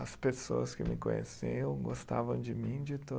As pessoas que me conheciam gostavam de mim de